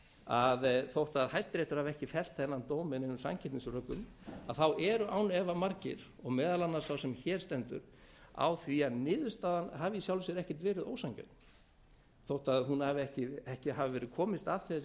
að þótt hæstiréttur hafi ekki fellt þennan dóm með neinum sanngirnisrökum eru án efa margir og meðal annars sá sem hér stendur á því að niðurstaðan hafi í sjálfu sér ekkert verið ósanngjörn þótt hún hafi ekki hafið verið komist að þessari